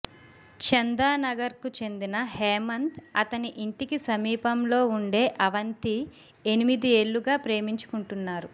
చందానగర్కు చెందిన హేమంత్ అతని ఇంటికి సమీపంలో ఉండే అవంతి ఎనిమిదేళ్లుగా ప్రేమించుకుంటున్నారు